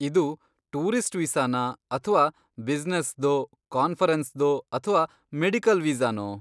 ಇದು ಟೂರಿಸ್ಟ್ ವೀಸಾನಾ ಅಥ್ವಾ ಬ್ಯುಸಿನೆಸ್ದೋ, ಕಾನ್ಫರೆನ್ಸ್ದೋ ಅಥ್ವಾ ಮೆಡಿಕಲ್ ವೀಸಾನೋ?